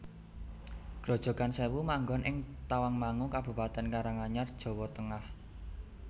Grojogan Sèwu manggon ing Tawangmangu Kabupatèn Karanganyar Jawa Tengah